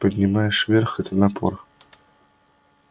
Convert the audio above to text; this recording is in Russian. поднимаешь вверх это напор